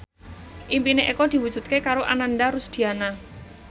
impine Eko diwujudke karo Ananda Rusdiana